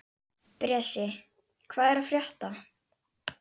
Bresi, hvað er að frétta?